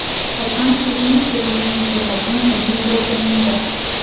Qachonki eng sevimli musiqaching - o‘zing bo‘lganingda.